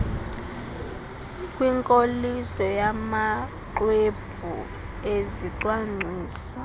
kwinkoliso yamaxwebhu ezicwangciso